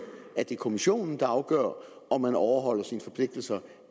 at det er kommissionen der afgør om man overholder sine forpligtelser